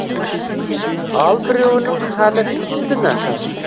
ал біреуінің халі тіпті нашар